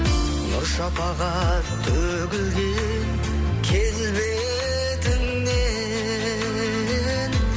нұр шапағат төгілген келбетіңнен